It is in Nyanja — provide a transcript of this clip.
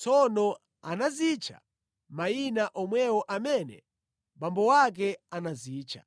Tsono anazitcha mayina omwewo amene abambo ake anazitcha.